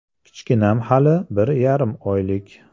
Kichkinam hali bir yarim oylik.